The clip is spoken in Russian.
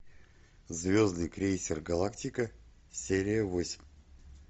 звездный крейсер галактика серия восемь